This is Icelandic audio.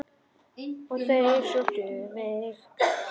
Og þeir sóttu mig.